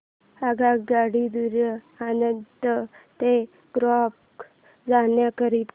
आगगाडी द्वारे आणंद ते गोध्रा जाण्या करीता